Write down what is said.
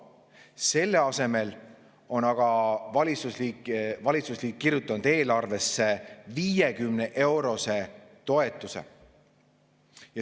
Selle asemel on aga valitsusliit kirjutanud eelarvesse 50‑eurose toetuse.